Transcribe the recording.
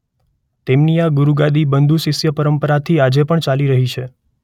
તેમની આ ગુરુગાદી બંદુશિષ્ય પરંપરાથી આજે પણ ચાલી રહી છે.